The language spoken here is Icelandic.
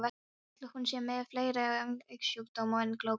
Ætli hún sé með fleiri augnsjúkdóma en glákuna?